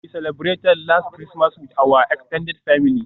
We celebrated last Christmas with our extended family.